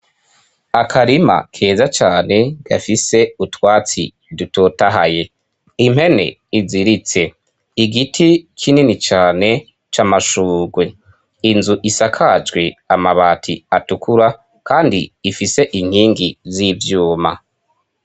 Akarima keza cane gafise utwatsi dutotahaye impene iziritse igiti kinini cane c'amashugwe inzu isakajwe amabati atukura kandi ifise inkingi z'ivyuma.